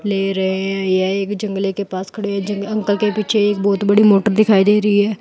ले रहे हैं। यह एक जंगले के पास खड़े है ज अंकल के पीछे एक बोहोत बड़ी मोटर दिखाई दे रही है।